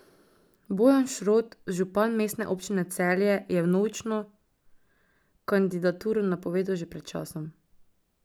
Bojan Šrot, župan Mestne občine Celje, je vnovično kandidaturo napovedal že pred časom.